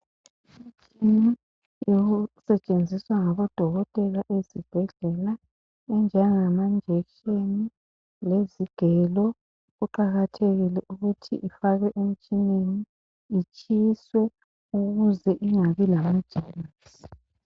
Kunengi okusetshenziswa ngodokotela okunjengamajekiseni, izigelo lokunye kuqakathekile ukuthi kufakwe emtshineni kutshiswe ukuze kungabi lamagerms.